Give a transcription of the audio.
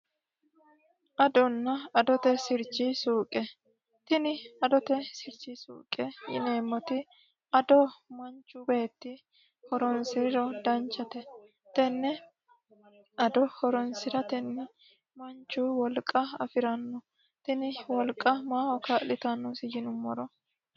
Adona adote sirchi suuqe tini adote sirchi suuqe yineemoti addo manchu beeti horoonisiriro danchate tene addo horoonsiraeni manchu wolqa afirano tini wolqa maaho kaalitanosi yinumoro